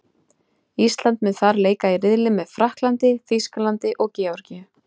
Ísland mun þar leika í riðli með Frakklandi, Þýskalandi og Georgíu.